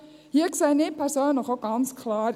Hier sehe ich persönlich auch ganz klar: